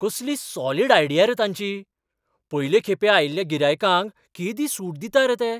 कसली solid idea रे तांची, पयलें खेपे आयिल्ल्या गिरायकांक केदी सूट दितात रे ते.